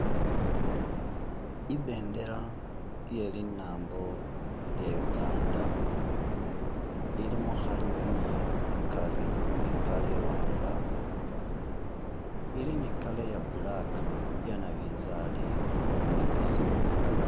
Ibendela iye linambo lya Uganda ilimo khanywinywi akari ni colour iwaanga ili ni colour ya black iya nabinzali ni besemu